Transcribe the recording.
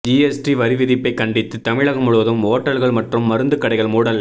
GST வரி விதிப்பை கண்டித்து தமிழகம் முழுவதும் ஓட்டல்கள் மற்றும் மருந்து கடைகள் மூடல்